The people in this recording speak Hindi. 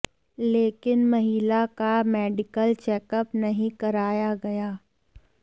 लेकिन महिला का मेडिकल चेकअप नहीं कराया गया